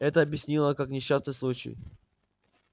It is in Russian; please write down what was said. это объяснила как несчастный случай